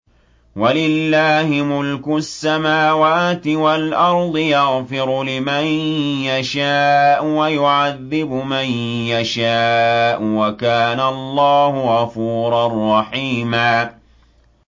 وَلِلَّهِ مُلْكُ السَّمَاوَاتِ وَالْأَرْضِ ۚ يَغْفِرُ لِمَن يَشَاءُ وَيُعَذِّبُ مَن يَشَاءُ ۚ وَكَانَ اللَّهُ غَفُورًا رَّحِيمًا